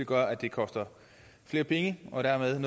gør at det koster flere penge og dermed er